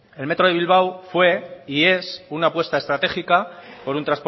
el metro de bilbao fue y es una apuesta estratégica por un